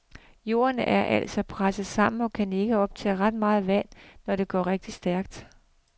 Jorden er altså presset sammen og kan ikke optage ret meget vand, når det går rigtig stærkt.